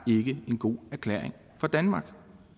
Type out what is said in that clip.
ikke en god erklæring for danmark